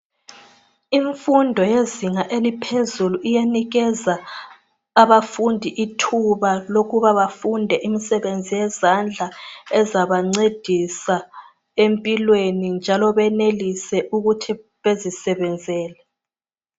Imfundo yezinga eliphezulu iyanikeza abafundi ithuba lokuba bafunde imisebenzi yezandla ezabancedisa empilweni njalo benelise ukuthi bezisebenzele.